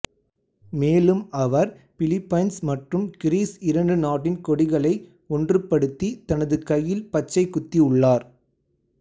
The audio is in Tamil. மேலும் அவர் பிலிபைன்ஸ் மற்றும் கிரீஸ் இரண்டு நாட்டின் கொடிகளை ஒன்றுபடுத்தி தனது கையில் பச்சை குத்தி உள்ளார்